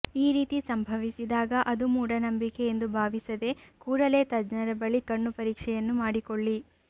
ಈ ರೀತಿ ಸಂಭವಿಸಿದಾಗ ಅದು ಮೂಢನಂಬಿಕೆ ಎಂದು ಭಾವಿಸದೇ ಕೂಡಲೇ ತಜ್ಞರ ಬಳಿ ಕಣ್ಣು ಪರೀಕ್ಷೆಯನ್ನು ಮಾಡಿಕೊಳ್ಳಿ